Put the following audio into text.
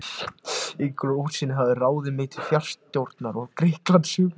Ingólfur í Útsýn hafði ráðið mig til fararstjórnar í Grikklandi sumarið